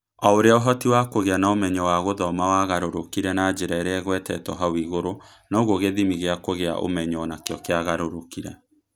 O ũrĩa ũhoti wa kũgĩa na ũmenyo wa gũthoma wagarũrũkire na njĩra ĩrĩa ĩgwetetwo hau igũrũ, noguo gĩthimi gĩa kũgĩa ũmenyo nakĩo kia garũrũkire.